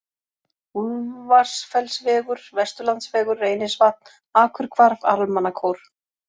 Úlfarsfellsvegur, Vesturlandsvegur Reynisvatn, Akurhvarf, Almannakór